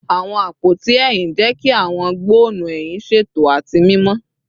Awọn apoti ehín jẹ ki awọn gbọnnu ehin ṣeto ati mimọ